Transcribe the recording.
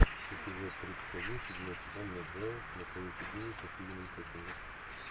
эпизод тридцать один седьмой сезон нат джео настоящий гений со стивеном хокингом